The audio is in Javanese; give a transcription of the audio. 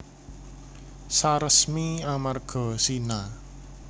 Saresmi amarga zina